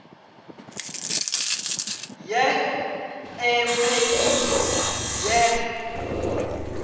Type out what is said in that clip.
ya e meili ya u